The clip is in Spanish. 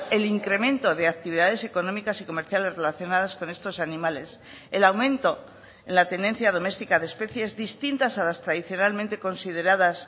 el incremento de actividades económicas y comerciales relacionadas con estos animales el aumento en la tenencia domestica de especies distintas a las tradicionalmente consideradas